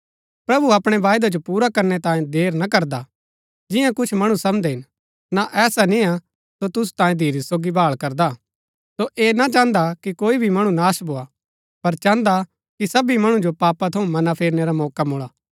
प्रभु अपणै वायदै जो पुरा करनै तांये देर ना करदा जिन्या कुछ मणु समझदै हिन ना ऐसा निय्आ सो तुसु तांये धीरज सोगी भाळ करदा हा सो ऐह ना चाहन्दा कि कोई भी मणु नाश भोआ पर चाहन्दा हा कि सबी मणु जो पापा थऊँ मनां फेरनै रा मौका मुळा